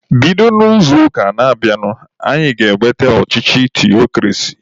Bido n'izuụka na-abịanụ anyị ga-eweta ọchịchị theokrasi!